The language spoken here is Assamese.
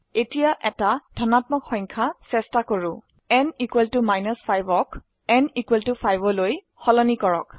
এতিয়া একটি ধনাত্মক সংখ্যা চেষ্টা কৰো n 5 ক n 5 লৈ সলনি কৰক